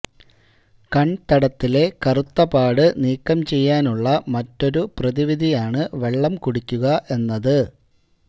കണ്തടത്തിലെ കറുത്ത പാട് നീക്കം ചെയ്യാനുള്ള മറ്റൊരു പ്രതിവിധിയാണ് വെള്ളം കുടിക്കുക എന്നത്